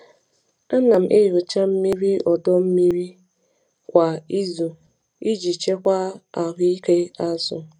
Ana m enyocha mmiri ọdọ mmiri kwa izu iji chekwaa ahụ ike azụ.